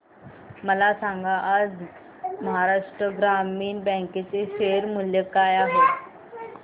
मला सांगा आज महाराष्ट्र ग्रामीण बँक चे शेअर मूल्य काय आहे